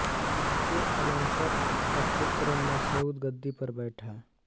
इसके अनंतर इसका पुत्र मसऊद गद्दी पर बैठा